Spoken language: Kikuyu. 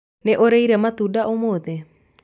Nĩ ũrĩire matunda ũmũthĩ